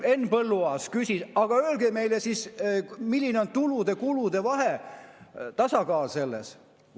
Henn Põlluaas küsis: aga öelge meile siis, milline on tulude-kulude vahe, tasakaal selles.